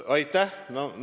Aitäh!